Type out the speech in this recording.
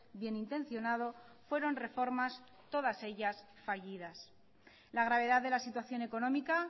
bien intencionado fueron reformas todas ellas fallidas la gravedad de la situación económica